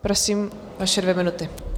Prosím, vaše dvě minuty.